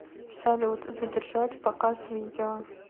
салют задержать показ видео